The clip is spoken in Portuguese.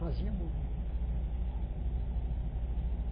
Fazia movimento.